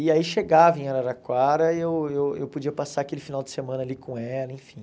E aí chegava em Araraquara e eu eu eu podia passar aquele final de semana ali com ela, enfim.